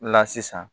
La sisan